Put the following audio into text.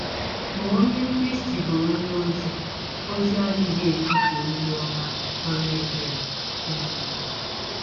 Ma ọnye Krịsti bụ́ ọnye ọzi ọzi adịghị ekwụsa ọzi ọma ọrụ ebere. um